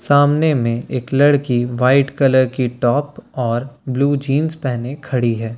सामने में एक लड़की व्हाइट की टॉप और ब्लू कलर की जीन्स पहने खड़ी है राय --